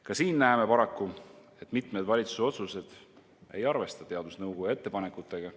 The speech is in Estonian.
Ka siin näeme paraku, et mitmed valitsuse otsused ei arvesta teadusnõukoja ettepanekutega.